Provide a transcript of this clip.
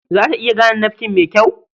Za ta iya gane nafkin mai kyau?